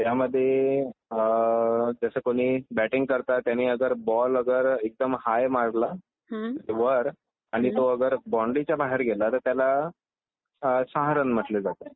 त्यामध्ये अं .. जसं कुणी बॅटिंग करतात त्यांनी अगर बॉल अगर एकदम हाय मारला वर आणि तो अगर बाउंड्रीच्या बाहेर गेला तर त्याला सहा रन म्हटलं जाते.